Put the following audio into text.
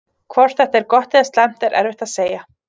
Hvort þetta er gott eða slæmt er erfitt að segja.